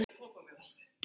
Stundum tánum fýla er frá.